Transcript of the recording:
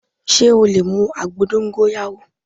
Sé o lè mu àgbo dóngóyárò